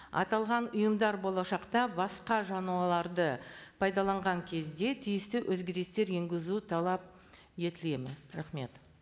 аталған ұйымдар болашақта басқа жануарларды пайдаланған кезде тиісті өзгерістер енгізу талап етіледі ме рахмет